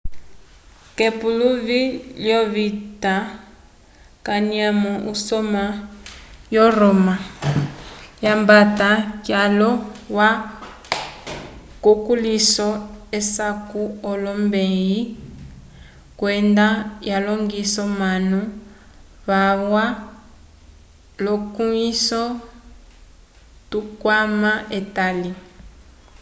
k'epuluvi lyovita kanyamo usoma wo roma lyambata kyaulo alwa kukulĩhiso wesaku wolombeyi kwenda walongisa omanu valwa lukuĩhiso tukwama etali